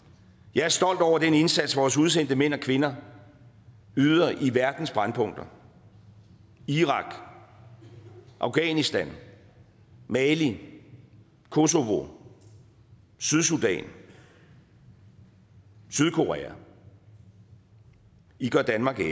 jeg er stolt over den indsats som vores udsendte mænd og kvinder yder i verdens brændpunkter irak afghanistan mali kosovo sydsudan sydkorea i gør danmark ære